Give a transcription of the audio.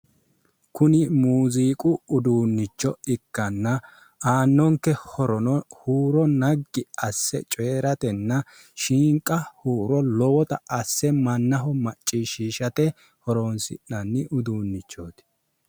Kuni muuziiqu uduunnicho ikkanna aannonke horono hooro naggi asse coyiratenna shiinqa huuro lowota asse mannaho macciishshiishate horoonsi'nanni uduunnichooti.